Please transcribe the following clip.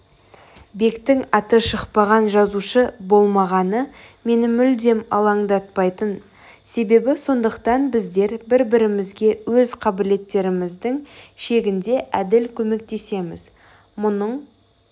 бектің аты шықпаған жазушы болмағаны мені мүлдем алаңдатпайтын себебі сондықтан біздер бір-бірімізге өз қабілеттеріміздің шегінде әділ көмектесеміз мұның